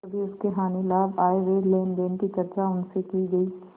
कभी उसके हानिलाभ आयव्यय लेनदेन की चर्चा उनसे की गयी